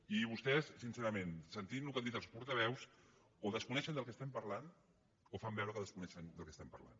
i vostès sincerament sentint el que han dit els portaveus o desconeixen de què estem parlant o fan veure que desconeixen de què estem parlant